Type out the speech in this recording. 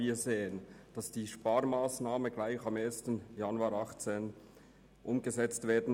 Die Sparmassnahme soll gleich am 01. 01. 2018 umgesetzt werden.